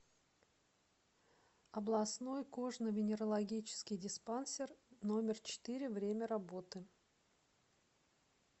областной кожно венерологический диспансер номер четыре время работы